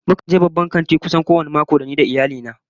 Mukan je babban kanti kusan kowane mako ni da iyali na